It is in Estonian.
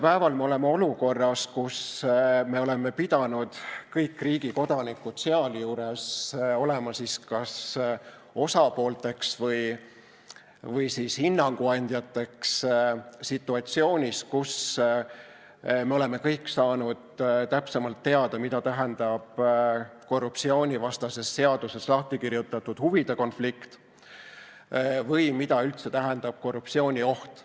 Praegu oleme olukorras, kus me oleme pidanud kõik, riigi kodanikud sealjuures, olema kas osapoolteks või siis hinnanguandjateks situatsioonis, kus kõik on saanud täpsemalt teada, mida tähendab korruptsioonivastases seaduses lahti kirjutatud huvide konflikt või mida üldse tähendab korruptsioonioht.